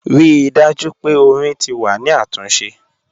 Rii daju pe ọ̀rìn ti wà ni atunse.